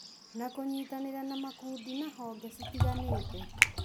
na kũnyitanĩra na makundi na honge citiganĩte